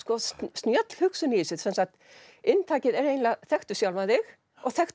snjöll hugsun í þessu inntakið er eiginlega þekktu sjálfan þig og þekktu